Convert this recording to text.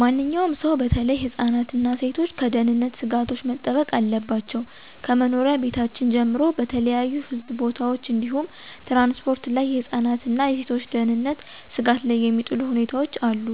ማንኛውም ሰው በተለይ ህፃናት እና ሴቶች ከደህንነት ስጋቶች መጠበቅ አለባቸው። ከመኖሪያ ቤታችን ጀምሮ በተለያዩ ህዝብ ቦታዎች እንዲሁም ትራንስፖርት ላይ የህፃናትን እና የሴቶችን ደህንነት ስጋት ላይ የሚጥሉ ሁኔታዎች አሉ፤